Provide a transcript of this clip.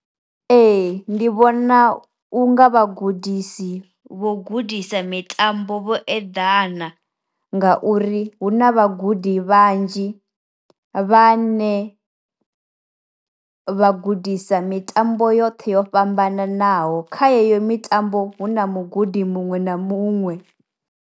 Ee ndi vhona u nga vhagudisi vho gudisa mitambo vho eḓana nga uri hu na vha gudi vhanzhi vhane vha gudisa mitambo yoṱhe yo fhambananaho, kha yeyo mitambo hu na mugudi muṅwe na muṅwe.